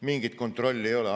Mingit kontrolli ei ole.